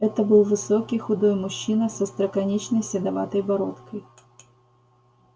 это был высокий худой мужчина с остроконечной седоватой бородкой